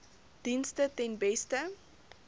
dienste ten beste